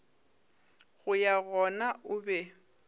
go ya gona o be